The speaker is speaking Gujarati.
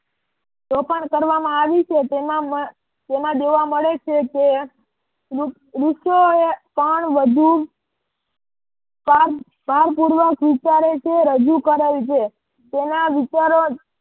શોષણ કરવામાં આવી છે કે તેમાં દેવા મળે છે કે ઋષિઓએ પણ વધુ ભાર ભાર પૂર્વક વિચારે છે રજુ કરેલ છે. તેના વિચારો